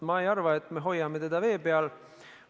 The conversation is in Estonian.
Ma ei arva, et me hoiame teda vee peal.